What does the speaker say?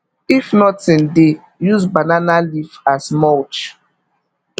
if nothing dey use banana leaf as mulch